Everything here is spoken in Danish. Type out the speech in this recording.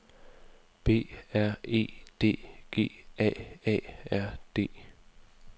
B R E D G A A R D